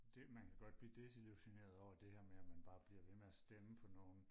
det man kan godt blive desillusioneret over det her med at man bare bliver ved med og stemme på nogen